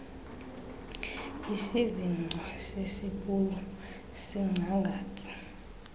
isivingco sesipulu sincangathi